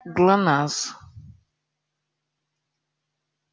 глонассс